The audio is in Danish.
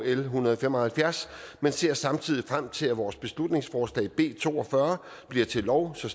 l en hundrede og fem og halvfjerds men ser samtidig frem til at vores beslutningsforslag b to og fyrre bliver til lov så